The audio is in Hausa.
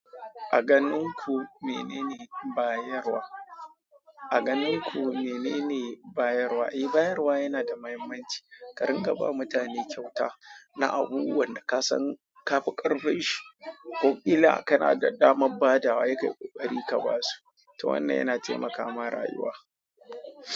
A ganin ku menene bayarwa? A ganin ku menene bayarwa? Eh, bayarwa yana da mahimmanci. Karin ka bawa mutane kyauta na abubuwan da ka san ka fi ƙarfi shi, ko illa ka na damar badawa sai kayi ƙoƙari ka ba su, to wannan yana taimakawa rayuwa.